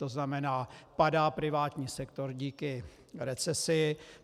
To znamená, padá privátní sektor díky recesi.